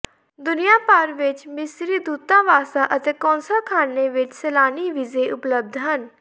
ਦੁਨੀਆ ਭਰ ਵਿੱਚ ਮਿਸਰੀ ਦੂਤਾਵਾਸਾਂ ਅਤੇ ਕੌਂਸਲਖਾਨੇ ਵਿੱਚ ਸੈਲਾਨੀ ਵੀਜ਼ੇ ਉਪਲਬਧ ਹਨ